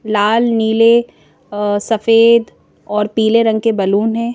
लाल नीले अ सफेद और पीले रंग के बैलून हैं।